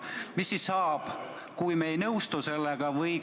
Mis siis saab, kui me ei nõustu sellega?